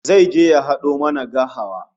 Zai je ya hado mana gahawa